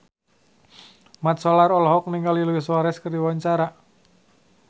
Mat Solar olohok ningali Luis Suarez keur diwawancara